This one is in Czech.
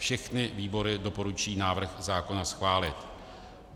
Všechny výbory doporučují návrh zákona schválit.